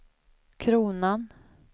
kronan